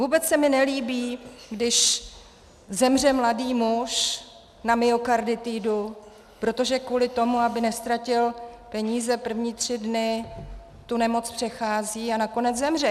Vůbec se mi nelíbí, když zemře mladý muž na myokarditidu, protože kvůli tomu, aby neztratil peníze první tři dny, tu nemoc přechází a nakonec zemře.